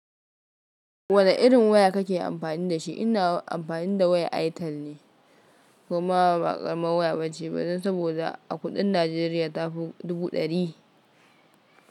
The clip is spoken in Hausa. Wane irin waya kake amfani da shi? Ina amfani da waya Airtel ne, kuma ba ƙaramar waya bace ba dan saboda a kuɗin Najeriya ta fi dubu ɗari.